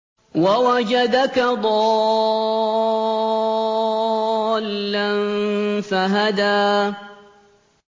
وَوَجَدَكَ ضَالًّا فَهَدَىٰ